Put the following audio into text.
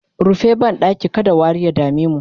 rufe banɗakin kada wari ya damemu!